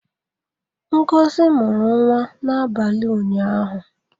Ngozi mụrụ nwa n'abalị ụnyaahụ.